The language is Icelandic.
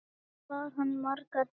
Ekki bar hann margar heim.